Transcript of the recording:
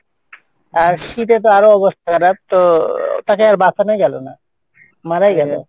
আর শীতে তো আরও অবস্থা খারাপ তো আহ তাকে আর বাঁচানোই গেলো না, মারাই গেলো,